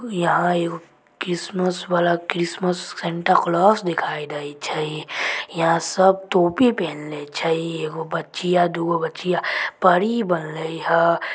यहाँ एगो क्रिस्मस वाला क्रिसमस सैंटा क्लाज दिखाय देय छै। यहाँ सब टोपी पहनले छै। एगो बच्चिया दू गो बच्चिया परी बनले हई।